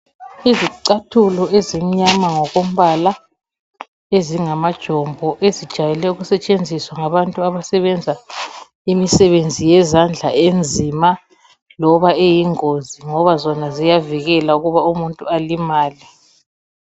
Izicathulo ezimnyama ngokombala, ezingamajombo ezijayele ukusethenziswa ngabantu abasebenza imisebenzi yezandla enzima loba eyingozi ngoba zona ziyavikela ukuba umuntu alimale.